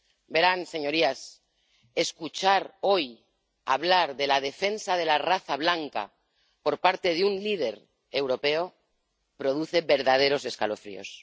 Verán, señorías, escuchar hoy hablar de la defensa de la raza blanca por parte de un líder europeo produce verdaderos escalofríos.